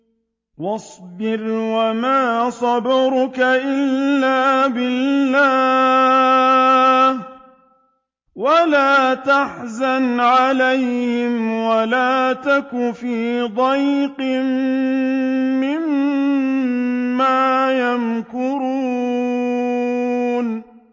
وَاصْبِرْ وَمَا صَبْرُكَ إِلَّا بِاللَّهِ ۚ وَلَا تَحْزَنْ عَلَيْهِمْ وَلَا تَكُ فِي ضَيْقٍ مِّمَّا يَمْكُرُونَ